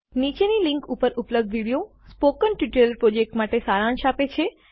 નીચેની લીંક ઉપર ઉપલબ્ધ વિડીયો સ્પોકન ટ્યુટોરિયલ પ્રોજેક્ટ માટે સારાંશ આપે છે